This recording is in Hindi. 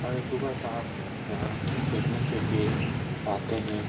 और सुबह शाम यहाँ खेलने के लिए आते है ।